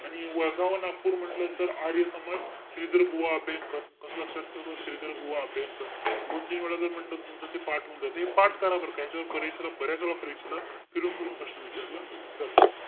आणि वर्धा व नागपूर म्हंटल तर, आर्य समाज. श्रीधर बुवा अभ्यंकर. कस लक्षात ठेवतो? श्रीधर बुवा अभ्यंकर. दोनतीन वेळा जरी म्हंटल तरी तुमचं ते पाठ होऊन जातं. हे पाठ करा बरं का, ह्याच्यावर बरेच~ बऱ्याचवेळा परीक्षेला फिरून-फिरून प्रश्न विचारला जातो.